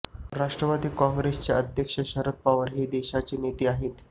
राष्ट्रवादी काँग्रेसचे अध्यक्ष शरद पवार हे देशाचे नेते आहेत